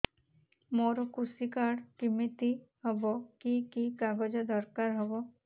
ମୋର କୃଷି କାର୍ଡ କିମିତି ହବ କି କି କାଗଜ ଦରକାର ହବ